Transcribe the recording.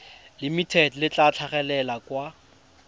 limited le tla tlhagelela kwa